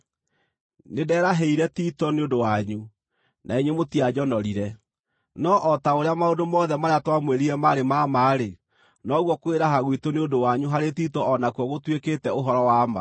Nĩnderahĩire Tito nĩ ũndũ wanyu, na inyuĩ mũtianjonorire. No o ta ũrĩa maũndũ mothe marĩa twamwĩrire maarĩ ma ma-rĩ, noguo kwĩraha gwitũ nĩ ũndũ wanyu harĩ Tito o nakuo gũtuĩkĩte ũhoro wa ma.